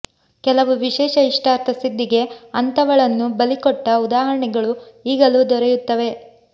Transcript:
ಕೆಲವು ವಿಶೇಷ ಇಷ್ಟಾರ್ಥ ಸಿದ್ಧಿಗೆ ಅಂಥವಳನ್ನು ಬಲಿ ಕೊಟ್ಟ ಉದಾಹರಣೆಗಳು ಈಗಲೂ ದೊರೆಯುತ್ತವೆ